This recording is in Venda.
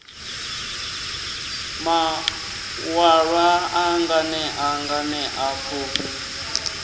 maṋwalwa a nganea nganea pfufhi